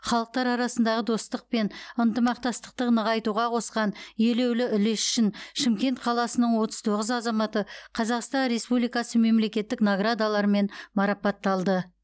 халықтар арасындағы достық пен ынтымақтастықты нығайтуға қосқан елеулі үлесі үшін шымкент қаласының отыз тоғыз азаматы қазақстан республикасы мемлекеттік наградаларымен марапатталды